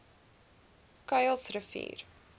kuilsrivier